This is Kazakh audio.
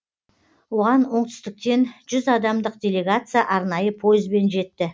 оған оңтүстіктен жүз адамдық делегация арнайы пойызбен жетті